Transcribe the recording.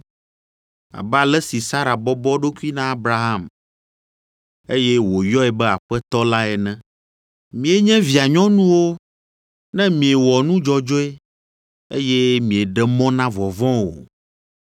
abe ale si Sara bɔbɔ eɖokui na Abraham, eye wòyɔe be aƒetɔ la ene. Mienye via nyɔnuwo ne miewɔ nu dzɔdzɔe, eye mieɖe mɔ na vɔvɔ̃ o.